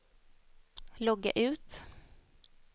logga ut